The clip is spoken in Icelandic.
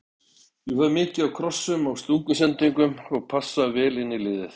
Ég fæ mikið af krossum og stungusendingum og passa vel inn í liðið.